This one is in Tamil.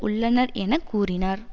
உள்ளனர் என கூறினார்